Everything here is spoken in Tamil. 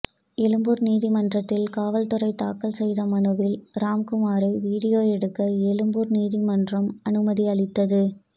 எழும்பூர் நீதிமன்றத்தில் காவல்துறை தாக்கல் செய்த மனுவில் ராம்குமாரை வீடியோ எடுக்க எழும்பூர் நீதிமன்றம் அனுமதி அளித்தது